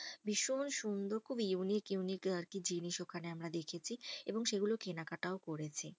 ভীষণ সুন্দর খুব unique unique আর কি জিনিস ওখানে আমরা দেখেছি। এবং সেগুলো কেনাকাটাও করেছি।